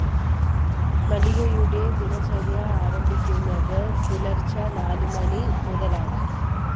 മല്ലികയുടെ ദിനചര്യ ആരംഭിക്കുന്നത്‌ പുലര്‍ച്ചെ നാലുമണി മുതലാണ്‌